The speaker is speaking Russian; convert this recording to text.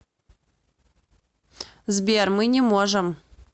сбер мы не можем